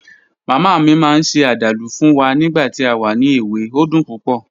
Mama mi maa n se adalu fun wa nigba ti a wa ni ewe, o dun pupo